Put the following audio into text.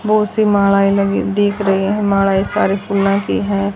बहोत सी मालाएं लगी दिख रही हैं मालाएं सारे फूलों की है।